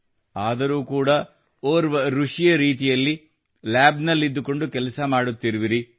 ಆದರೂ ಕೂಡಾ ಓರ್ವ ಋಷಿಯ ರೀತಿಯಲ್ಲಿ ಲ್ಯಾಬ್ ನಲ್ಲಿದ್ದು ಕೊಂಡು ಕೆಲಸ ಮಾಡುತ್ತಿರುವಿರಿ